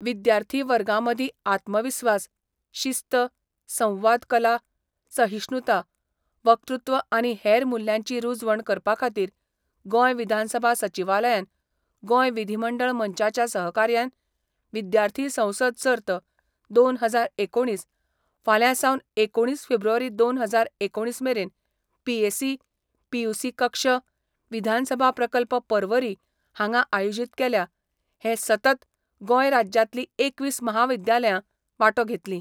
विद्यार्थी वर्गामदीं आत्मविस्वास, शिस्त, संवाद कला, सहिश्णूता, वक्तृत्व आनी हेर मुल्यांची रूजवण करपाखातीर गोंय विधानसभा सचिवालयान गोंय विधीमंडळ मंचाच्या सहकार्यान विद्यार्थी संसद सर्त दोन हजार एकुणीस फाल्यां सावन एकुणीस फेब्रुवारी दोन हजार एकुणीस मेरेन पीएसी, पीयूसी कक्ष, विधानसभा प्रकल्प पर्वरी हांगा आयोजित केल्या हे सतत गोंय राज्यातली एकवीस महाविद्यालयां वाटो घेतली.